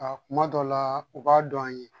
Aa kuma dɔ la u b'a dɔn an ye